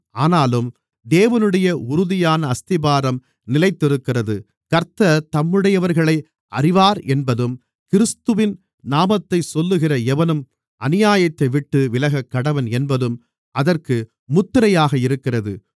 ஆனாலும் தேவனுடைய உறுதியான அஸ்திபாரம் நிலைத்திருக்கிறது கர்த்தர் தம்முடையவர்களை அறிவாரென்பதும் கிறிஸ்துவின் நாமத்தைச் சொல்லுகிற எவனும் அநியாயத்தைவிட்டு விலகக்கடவன் என்பதும் அதற்கு முத்திரையாக இருக்கிறது